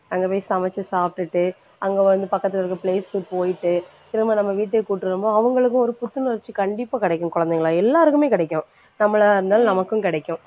அங்க போயி சமைச்சு சாப்டுட்டு அங்க வந்து பக்கத்துல இருக்கற place க்கு போயிட்டு திரும்ப நம்ம வீட்டுக்கு கூட்டிட்டு வரும்போது அவங்களுக்கும் ஒரு புத்துணர்ச்சி கண்டிப்பா கிடைக்கும் குழந்தைகளா எல்லாருக்குமே கிடைக்கும். நம்மளாயிருந்தாலும் நமக்கும் கிடைக்கும்.